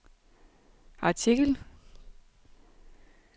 artikel